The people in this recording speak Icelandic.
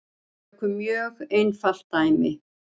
Tökum mjög einfalt dæmi.